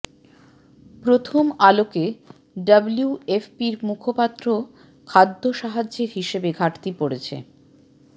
প্রথম আলোকে ডব্লিউএফপির মুখপাত্র খাদ্য সাহায্যের হিসাবে ঘাটতি পড়ছে